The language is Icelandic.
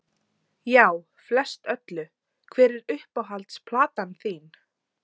Já, flest öllu Hver er uppáhalds platan þín?